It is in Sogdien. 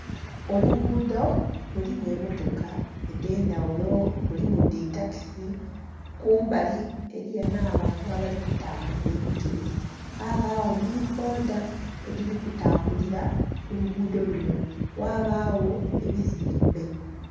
Oluguudo mulimu emmotoka edh'endhaghulo mulimu dhi takisi. Ku mbali eliyo n'abantu abali kutambuza ebigere, ghabagho ni bboda edhili kutambulira ku luguudo luno, ghabagho ebizimbe.